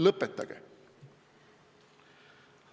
Lõpetage!